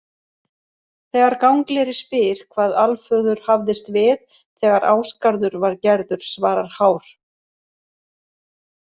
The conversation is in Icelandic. Þegar Gangleri spyr hvað Alföður hafðist við þegar Ásgarður var gerður svarar Hár: